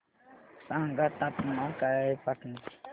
सांगा तापमान काय आहे पाटणा चे